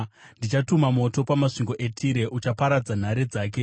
ndichatuma moto pamasvingo eTire, uchaparadza nhare dzake.”